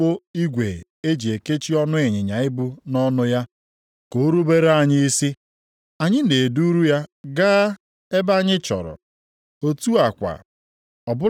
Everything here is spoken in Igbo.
Ọ bụrụ na anyị e tinye mkpụmkpụ igwe e ji ekechi ọnụ ịnyịnya ibu nʼọnụ ya, ka o rubere anyị isi, anyị na-eduru ya gaa ebe anyị chọrọ.